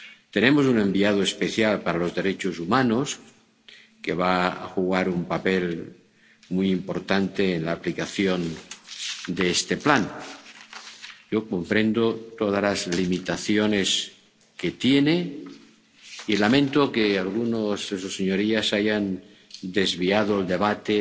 Tenemos un enviado especial para los derechos humanos, que va a jugar un papel muy importante en la aplicación de este plan. Yo comprendo todas las limitaciones que tiene y lamento que algunos de sus señorías hayan desviado el debate